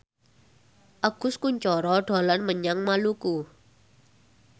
Agus Kuncoro dolan menyang Maluku